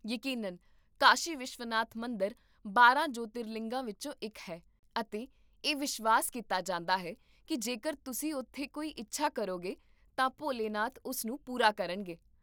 ਯਕੀਨਨ, ਕਾਸ਼ੀ ਵਿਸ਼ਵਨਾਥ ਮੰਦਰ ਬਾਰਾਂ ਜੋਤਿਰਲਿੰਗਾਂ ਵਿੱਚੋਂ ਇੱਕ ਹੈ, ਅਤੇ ਇਹ ਵਿਸ਼ਵਾਸ ਕੀਤਾ ਜਾਂਦਾ ਹੈ ਕਿ ਜੇਕਰ ਤੁਸੀਂ ਉੱਥੇ ਕੋਈ ਇੱਛਾ ਕਰੋਗੇ, ਤਾਂ ਭੋਲੇਨਾਥ ਉਸ ਨੂੰ ਪੂਰਾ ਕਰਨਗੇ